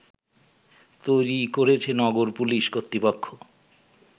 তৈরি করেছে নগর পুলিশ কর্তৃপক্ষ